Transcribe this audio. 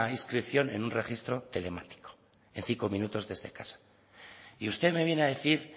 inscripción en un registro telemático en cinco minutos desde casa y usted me viene a decir